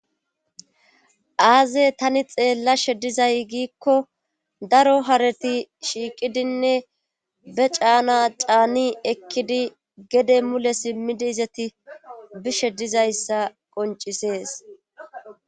aaze tani xeellashe dizay giikko daro hareti shiiqidinne be caana caani ekkidi gede mule simmidi izati bishe dizayssa qoncisees